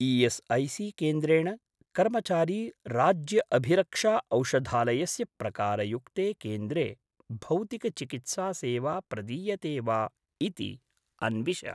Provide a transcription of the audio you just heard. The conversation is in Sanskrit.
ई.एस्.ऐ.सी.केन्द्रेण कर्मचारी राज्य अभिरक्षा औषधालयस्य प्रकारयुक्ते केन्द्रे भौतिक चिकित्सा सेवा प्रदीयते वा इति अन्विष।